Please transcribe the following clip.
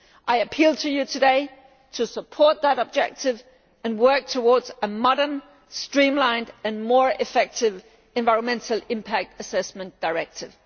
I appeal to you today to support that objective and work towards a modern, streamlined and more effective Environmental Impact Assessment Directive.